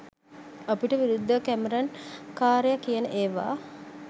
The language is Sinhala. අපිට විරුද්ධව කැමරන් කාරය කියන ඒවා